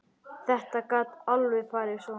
Þetta gat alveg farið svona.